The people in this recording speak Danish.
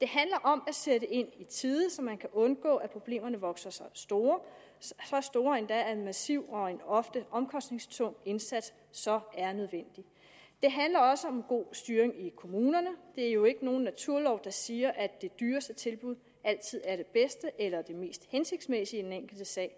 det handler om at sætte ind i tide så man kan undgå at problemerne vokser sig store så store endda at en massiv og ofte omkostningstung indsats så er nødvendig det handler også om god styring i kommunerne der er jo ikke nogen naturlov der siger at det dyreste tilbud altid er det bedste eller det mest hensigtsmæssige i den enkelte sag